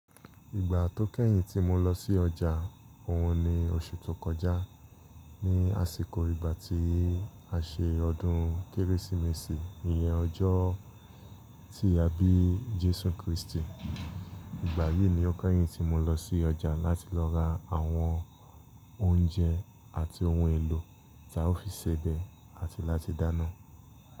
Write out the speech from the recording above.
Ìgbà tó kẹ́yìn tí mo lọ sí ọjà òun ni oṣù tó kọjá. Ni àsìkò ìgbà tí a ṣe ọdún Kérésìmesì, ìyẹn ọjọ́ tí a bí Jésù Kristi. Ìgbà yìí ni ó kẹ́yìn tí mo lọ sí ọjà láti lọ ra àwọn oúnjẹ àti ohun èlò tí a ó fi sebẹ̀ àti láti dáná.